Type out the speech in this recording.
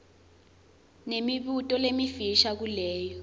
nemibuto lemifisha kuleyo